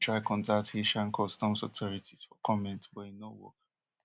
bbc try contact haitian customs authorities for comment but e no work